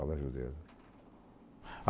o dedo.